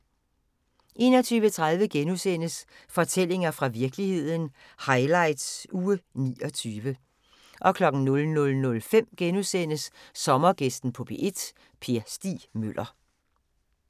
21:30: Fortællinger fra virkeligheden – highlights uge 29 * 00:05: Sommergæsten på P1: Per Stig Møller *